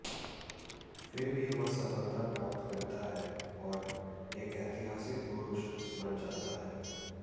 फिर भी वह सफलता प्राप्त करता है और एक ऐतिहासिक पुरुष बन जाता है